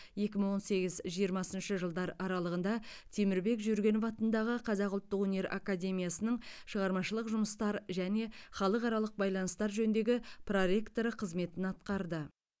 екі мың он сегіз жиырмасыншы жылдар аралығы темірбек жүргенов атындағы қазақ ұлттық өнер академиясының шығармашылық жұмыстар және халықаралық байланыстар жөніндегі проректоры қызметін атқарды